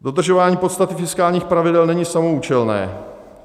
Dodržování podstaty fiskálních pravidel není samoúčelné.